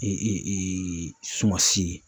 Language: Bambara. sumansi ye.